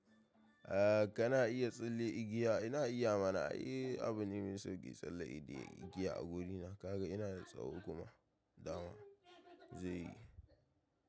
Eh kana iya tsalle igiya ina iya mana, eh abune mai sauƙi tsalle igiya a gona. Kaga ina da tsawo kuma dama zai yi.